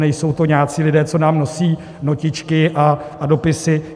Nejsou to nějací lidé, co nám nosí notičky a dopisy.